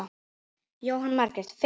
Jóhanna Margrét: Fimm?